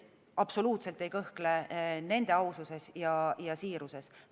Absoluutselt ei kõhkle nende aususes ja siiruses.